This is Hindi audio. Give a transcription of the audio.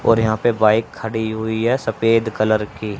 और यहां पे बाइक खड़ी हुई है। सफेद कलर की।